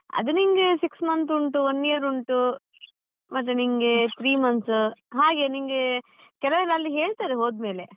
ಅದು ನಿನ್ಗೆ six month ಉಂಟು one year ಉಂಟು ಮತ್ತೆ ನಿಂಗೆ three months ಹಾಗೆ ನಿನ್ಗೆ ಕೆಲವೆಲ್ಲ ಅಲ್ಲಿ ಹೇಳ್ತಾರೆ ಹೋದ್ಮೇಲೆ.